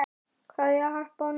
Kveðja, Harpa og Nína.